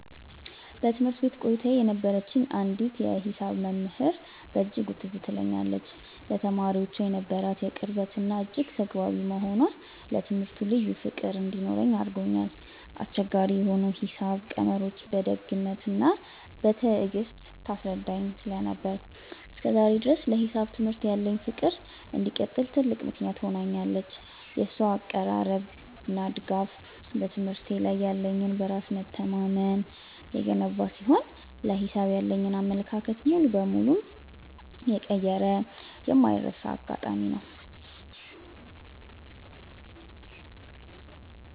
በትምህርት ቤት ቆይታዬ የነበረችኝ አንዲት የሂሳብ መምህር በእጅጉ ትዝ ትለኛለች፤ ለተማሪዎቿ የነበራት ቅርበትና እጅግ ተግባቢ መሆኗ ለትምህርቱ ልዩ ፍቅር እንዲኖረኝ አድርጎኛል። አስቸጋሪ የሆኑ የሂሳብ ቀመሮችን በደግነትና በትዕግስት ታስረዳኝ ስለነበር፣ እስከ ዛሬ ድረስ ለሂሳብ ትምህርት ያለኝ ፍቅር እንዲቀጥል ትልቅ ምክንያት ሆናኛለች። የእሷ አቀራረብና ድጋፍ በትምህርቴ ላይ ያለኝን በራስ መተማመን የገነባ ሲሆን፣ ለሂሳብ ያለኝን አመለካከት ሙሉ በሙሉ የቀየረ የማይረሳ አጋጣሚ ነው።